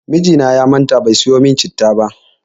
Mijina ya manta bai sayo min citta ba.